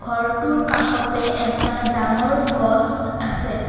ঘৰটোৰ কাষতে এটা ডাঙৰ গছ আছে।